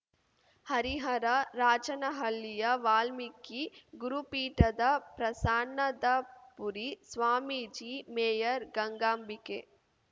ಹರಿಹರ ರಾಜನಹಳ್ಳಿಯ ವಾಲ್ಮೀಕಿ ಗುರುಪೀಠದ ಪ್ರಸನ್ನಾದಪುರಿ ಸ್ವಾಮೀಜಿ ಮೇಯರ್‌ ಗಂಗಾಂಬಿಕೆ